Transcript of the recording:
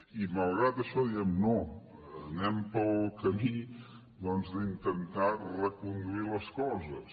i malgrat això diem no anem pel camí doncs d’intentar reconduir les coses